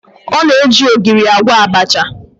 Ọ na-eji ogiri agwọ abacha